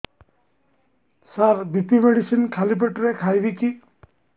ସାର BP medicine ଖାଲି ପେଟରେ ଖାଇବି କି